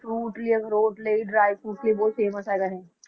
Fruit ਲਈ ਅਖਰੋਟ ਲਈ dryfruit ਲਈ ਬਹੁਤ famous ਹੈਗਾ ਇਹ